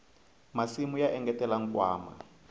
masimu ya engetela nkwama